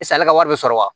Sisan ale ka wari bɛ sɔrɔ wa